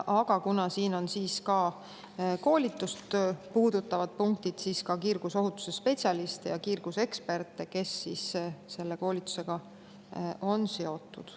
Ja kuna siin on ka koolitust punktid, siis puudutab eelnõu ka kiirgusohutusspetsialiste ja kiirguseksperte, kes koolitusega on seotud.